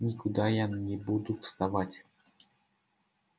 никуда я не буду вставать